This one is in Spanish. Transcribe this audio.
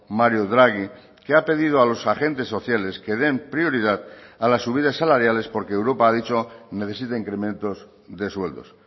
mario draghi que ha pedido a los agentes sociales que den prioridad a las subidas salariales porque europa ha dicho necesita incrementos de sueldos